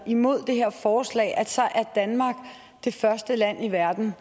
imod det her forslag at så er danmark det første land i verden